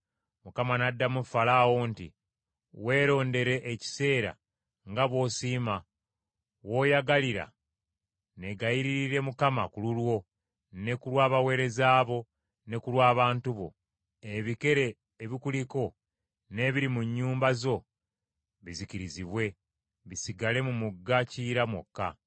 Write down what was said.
Musa n’addamu Falaawo nti, “Weerondere ekiseera nga bw’osiima, w’oyagalira neegayirire Mukama ku lulwo ne ku lw’abaweereza bo, ne ku lw’abantu bo, ebikere ebikuliko n’ebiri mu nnyumba zo bizikirizibwe, bisigale mu mugga Kiyira mwokka.”